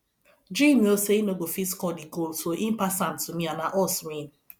jim know say he no go fit score the goal so he pass am to me and na us win